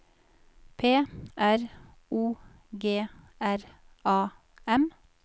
P R O G R A M